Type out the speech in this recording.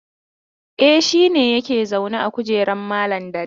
E, shi ne yake zaune a kujeran malam Dari.